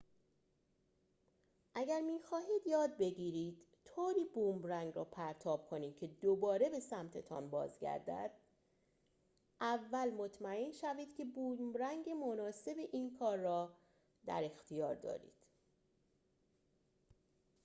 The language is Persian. اگر می‌خواهید یاد بگیرید طوری بومرنگ را پرتاب کنید که دوباره به سمت‌تان بازگردد اول مطمئن شوید که بومرنگ مناسب این کار را در اختیار دارید